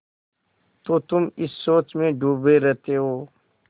तो तुम इस सोच में डूबे रहते हो